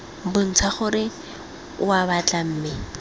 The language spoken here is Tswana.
bontsha gore oa batla mme